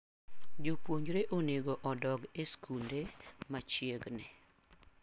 Jopuonjre onego odog e skunde machiegni.